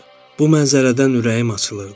Bu mənzərədən ürəyim açılırdı.